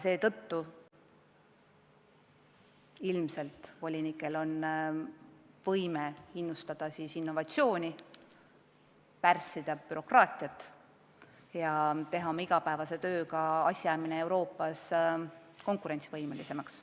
Seetõttu peaksid volinikud suutma innustada innovatsiooni arendamist, pärssida bürokraatiat ja teha oma igapäevase tööga asjajamine Euroopas konkurentsivõimelisemaks.